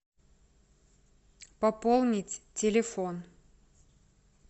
пополнить телефон